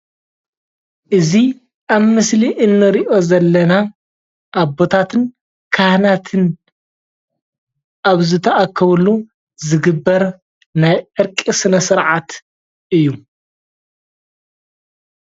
እዚ ኣብ ምስሊ እንሪኦ ዘለና ኣቦታትን ካህናትን ኣብ ዝተኣከብሉ ዝግበር ናይ ዕርቂ ስነ - ስርዓት እዩ፡፡